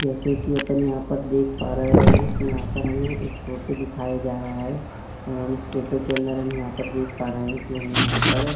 जैसे की अपन यहाँ पर देख पा रहे है कि यहाँ पर हमें एक फोटो दिखाया जा रहा हैं और उस फोटो के अंदर देखा पा रहे कि हमें यहाँ पर --